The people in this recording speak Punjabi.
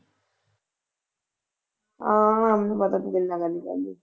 ਹਾਂ ਮੈਨੂੰ ਪਤਾ ਤੂੰ ਕਿੰਨਾ ਕੁ ਨੀ ਕਹਿੰਦੀ।